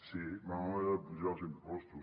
sí vam haver d’apujar els impostos